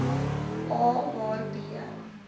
a waar b